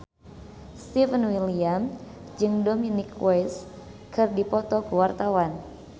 Stefan William jeung Dominic West keur dipoto ku wartawan